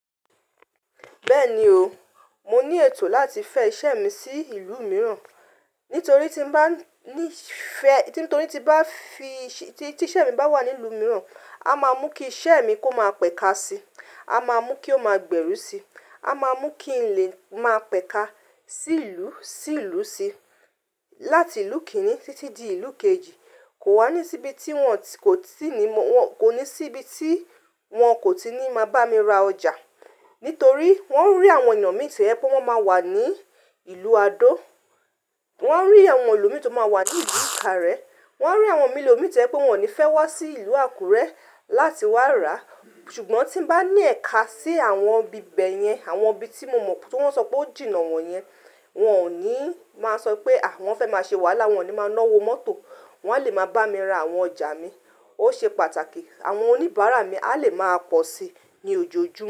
Bẹ́ẹ̀ni o, mo ní ètò láti fẹ́ iṣẹ́ mi sí ìlú mìíràn, nítorí tí n bá, nis tí iṣẹ́ mi bá wà ní ìlú mìíràn, a máa mú kí iṣẹ́ mi kó máa pẹ̀ka sí, a máa mú kí ó máa gbẹ́rú sí, a máa mú kí lè máa pẹ̀ka sí ìlú sí ìlú sí, láti ìlú kìnní títí di ìlú kejì. Kò wá ní síbi tí wọ́n kò ní síbi tí wọ́n kò tí ní máa bá mi ra ọjà. Nítorí wọ́n rí àwọn èyan mi to yẹ pé wọ́n máa wà ní ìlú Adó. Wọn rí àwọn ẹlòmíì tí ó máa wà ní ìlú Ìkàrẹ́. Wọn rí àwọn ẹlòmíì to yẹ pé wọn ò ní fẹ́ wá sí ìlú Àkúrẹ́ láti wá rà. Ṣùgbọ́n tí ń bá ní ẹ̀ka sí àwọn ibi ìbebe yẹn, àwọn ibi tí mo mọ̀ tó wọ́n sọ pé ó jìnnà wọ́n yẹn, wọ́n ò ní máa sọ pé àwọn fẹ́ máa ṣe wàhálà, wọ́n ò ní máa náwó mọ́tò, wọn a lè máa bá mi ra àwọn ọjà mi. Ó ṣe pàtàkì àwọn oníbàárà mi a lè máa pọ̀ sí i ní ojoojúmọ́